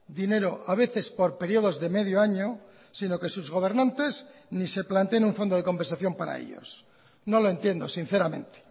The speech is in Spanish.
dinero a veces por periodos de medio año sino que sus gobernantes ni se planteen un fondo de compensación para ellos no lo entiendo sinceramente